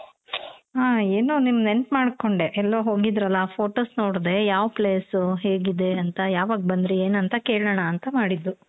ಹ ಏನೋ ನಿಮ್ ನೆನಪ್ ಮಾಡ್ಕೊಂಡೆ ಎಲ್ಲೋ ಹೋಗಿದ್ರಲ photos ನೋಡ್ದೆ. ಯಾವ್ place ಹೇಗೆ ಇದೆ ಅಂತ ಯವಾಗ್ ಬಂದ್ರಿ ಏನ್ ಅಂತ ಕೇಳಣ ಅಂತ ಮಾಡಿದ್ದು.